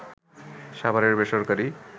সাভারের বেসরকারি